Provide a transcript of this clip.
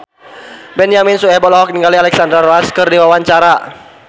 Benyamin Sueb olohok ningali Alexandra Roach keur diwawancara